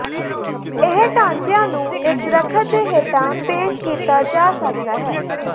ਇਹ ਢਾਂਚਿਆਂ ਨੂੰ ਇਕ ਦਰਖ਼ਤ ਦੇ ਹੇਠਾਂ ਪੇੰਟ ਕੀਤਾ ਜਾ ਸਕਦਾ ਹੈ